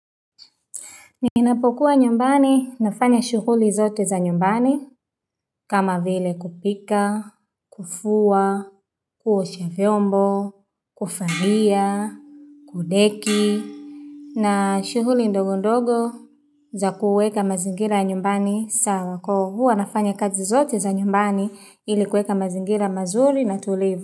Ninapokuwa nyumbani, nafanya shughuli zote za nyumbani, kama vile kupika, kufua, kuosha vyombo, kufariya, kudeki, na shuhuli ndogo ndogo za kuweka mazingira nyumbani sawa kwa hua nafanya kazi zote za nyumbani ili kuweka mazingira mazuri na tulivu.